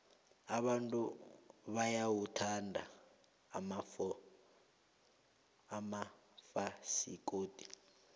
abantu bayawathanda amafasikodi